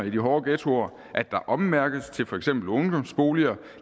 i de hårde ghettoer at der ommærkes til for eksempel ungdomsboliger og